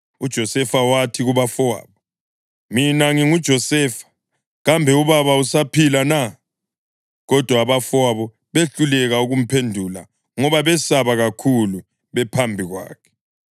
UJosefa wathi kubafowabo, “Mina nginguJosefa! Kambe ubaba usaphila na?” Kodwa abafowabo behluleka ukumphendula ngoba besaba kakhulu bephambi kwakhe.